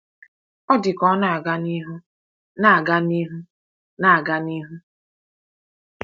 Ọ dị ka ọ na-aga n’ihu na-aga n’ihu na-aga n’ihu.